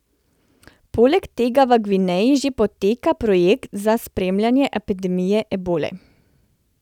Poleg tega v Gvineji že poteka projekt za spremljanje epidemije ebole.